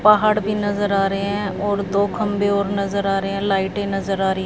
पहाड़ भी नजर आ रहे हैं और दो खंबे और नजर आ रहे हैं लाइटे नजर आ रही--